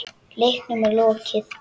Leiknum er lokið.